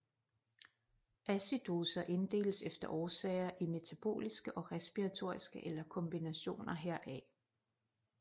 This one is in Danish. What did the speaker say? Acidoser inddeles efter årsager i metaboliske og respiratoriske eller kombinationer heraf